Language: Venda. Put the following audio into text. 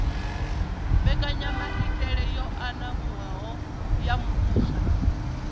mbekanyamaitele yo anavhuwaho ya muvhuso